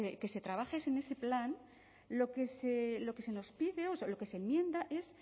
que se trabaje ese plan lo que se nos pide o lo que se enmienda es